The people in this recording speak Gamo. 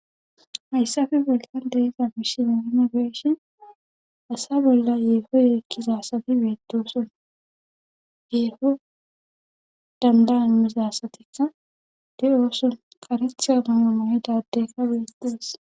hayssafe bollan de'iza misile nuni be'ishin asa bolla yeefo yeekkizasati beedoson yeefo dandan misasatikka de7ooson karetha mayo mayida adeyka betes